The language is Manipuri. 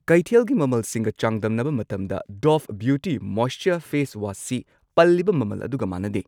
ꯀꯩꯊꯦꯜꯒꯤ ꯃꯃꯜꯁꯤꯡꯒ ꯆꯥꯡꯗꯝꯅꯕ ꯃꯇꯝꯗ ꯗꯣꯚ ꯕ꯭ꯌꯨꯇꯤ ꯃꯣꯏꯁꯆꯔ ꯐꯦꯁ ꯋꯥꯁꯁꯤ ꯄꯜꯂꯤꯕ ꯃꯃꯜ ꯑꯗꯨꯒ ꯃꯥꯟꯅꯗꯦ꯫